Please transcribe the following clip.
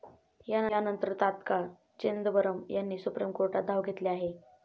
यानंतर तात्काळ चिदंबरम यांनी सुप्रीम कोर्टात धाव घेतली आहे.